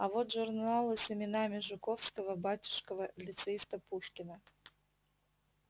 а вот журналы с именами жуковского батюшкова лицеиста пушкина